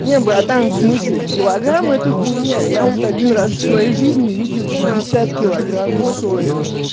нет братан в смысле килограмм это хуйня я вот один раз в своей жизни видел пятьдесят килограмм соли